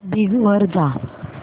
Bing वर जा